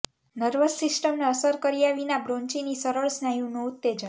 nervous સિસ્ટમને અસર કર્યા વિના બ્રોન્ચિની સરળ સ્નાયુનું ઉત્તેજન